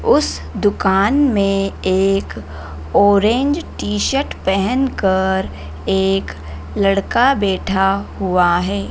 उस दुकान में एक ऑरेंज टी-शर्ट पहनकर एक लड़का बैठा हुआ है।